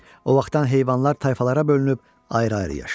O vaxtdan heyvanlar tayfalara bölünüb ayrı-ayrı yaşayır.